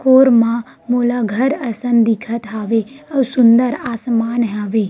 कोरमा मोला घर असन दिखत हवे आऊ सुन्दर आसमान हावे।